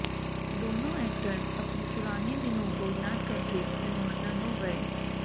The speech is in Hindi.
दोनों ऐक्टर्स अपने पुराने दिनों को याद करके इमोशनल हो गए